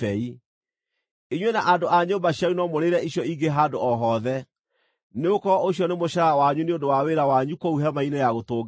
Inyuĩ na andũ a nyũmba cianyu no mũrĩĩre icio ingĩ handũ o hothe, nĩgũkorwo ũcio nĩ mũcaara wanyu nĩ ũndũ wa wĩra wanyu kũu Hema-inĩ-ya-Gũtũnganwo.